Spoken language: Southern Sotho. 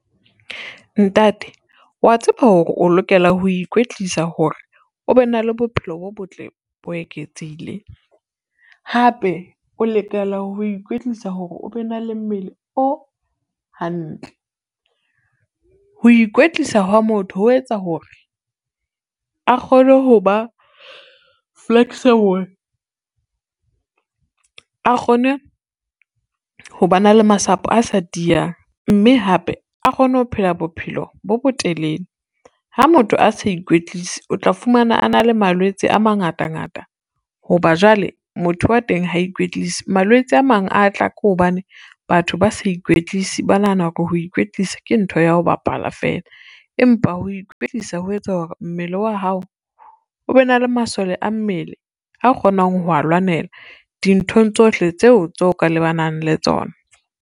Ntate wa tseba hore o lokela ho ikwetlisa hore o be na le bophelo bo botle bo eketsehileng, hape o letela ho ikwetlisa hore o be na le mmele o hantle. Ho ikwetlisa hwa motho ho etsa hore a kgone ho ba flexible, a kgone ho ba na le masapo a sa tiyang mme hape a kgone ho phela bophelo bo botelele. Ha motho a sa ikwetlise, o tla fumana a na le malwetse a mangata ngata ho ba jwale motho wa teng ha ikwetlisa. Malwetse a mang a tla ka hobane batho ba sa ikwetlisi ba nahana hore ho ikwetlisa ke ntho ya ho bapala feela, empa ho ikwetlisa ho etsa hore mmele wa hao o be na le masole a mmele a kgonang ho a lwanela dinthong tsohle tseo tso ka lebanang le tsona.